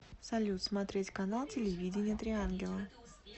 салют смотреть канал телевидения три ангела